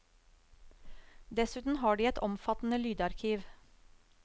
Dessuten har de et omfattende lydarkiv.